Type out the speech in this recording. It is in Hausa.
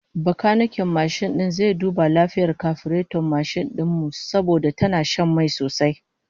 Bakaniken mashin din zai duba lafiyar kafireton mashin din mu, saboda tana shan mai sosai